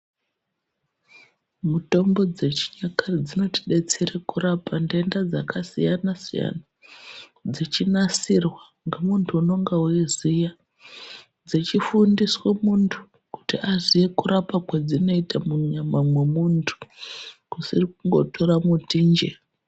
Mitombo dzechinyakare dzinotidetsere kurape nhenda dzakasiyanasiyana dzechinasirwa ngemuntu unonga eiziya dzechifundiswe muntu kuti aziye kurapa kwedzinoita munyama mwemunhu kusiri kungotora mutinje.